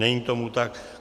Není tomu tak.